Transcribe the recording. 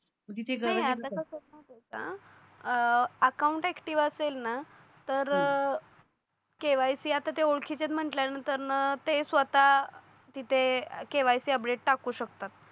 account active असेल ना तर KYC आता ते ओळखीचे म्हटल्यानंतर ना ते स्वतः तिथे KYC अपडेट टाकू शकतात